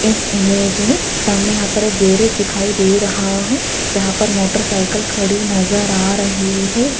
इस इमेज में सामने यहां पर एक गैरेज दिखाई दे रहा है जहां पर मोटरसाइकिल खड़ी नजर आ रही है।